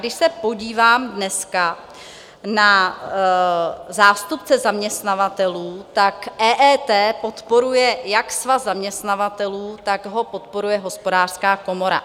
Když se podívám dneska na zástupce zaměstnavatelů, tak EET podporuje jak Svaz zaměstnavatelů, tak ho podporuje Hospodářská komora.